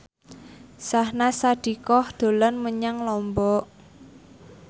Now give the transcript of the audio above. Syahnaz Sadiqah dolan menyang Lombok